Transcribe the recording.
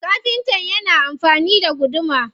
Kafinta na amfani da guduma.